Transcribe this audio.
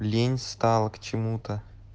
лень стало к чему-то